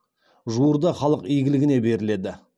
жуырда халық игілігіне беріледі